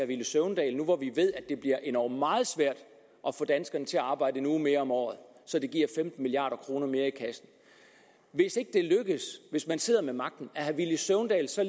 villy søvndal nu hvor vi ved at det bliver endog meget svært at få danskerne til at arbejde en uge mere om året så det giver femten milliard kroner mere i kassen er hvis ikke det lykkes hvis man sidder ved magten er herre villy søvndal så